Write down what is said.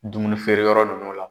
Dumuni feere yɔrɔ nunnu la.